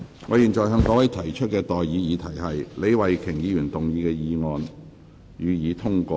我現在向各位提出的待議議題是：李慧琼議員動議的議案，予以通過。